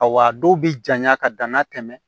Awa dɔw bɛ jaɲa ka danna tɛmɛ